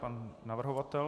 Pan navrhovatel.